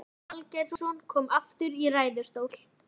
Stefán Valgeirsson kom aftur í ræðustól.